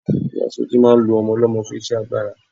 Ìyáa Sọjí máa ń lo ọmọ ọlọ́mọ fún iṣẹ́ agbára.